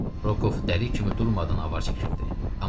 Roku dəli kimi durmadan avar çəkirdi.